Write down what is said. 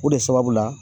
O de sababu la